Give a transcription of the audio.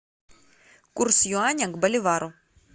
курс юаня к боливару